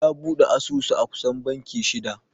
Ya bude asusu a kusan banki shida.